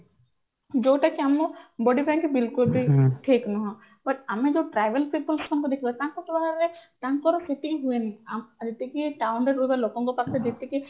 ଯୋଉଟା କି ଆମ body ପାଇଁ କି ବିଲକୁଲ ବି ଠିକ ନୁହଁ but ଆମେ ଯୋଉ travels people ଙ୍କୁ ଦେଖିବା ତାଙ୍କ ତାଙ୍କର ସେତିକି ହୁଏନି ଯେତିକି town ରେ ରହୁଥିବା ଲୋକଙ୍କ ପାଖରେ ଯେତିକି